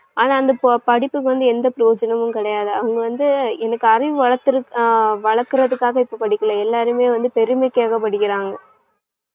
ஆனா அந்தப் பு~ படிப்புக்கு வந்து எந்த பிரயோஜனமும் கிடையாது. அவங்க வந்து எனக்கு அறிவு வளர்க்கற~ வளர்க்கறதுக்காக இப்ப படிக்கலை எல்லாருமே வந்து பெருமைக்காக படிக்கிறாங்க.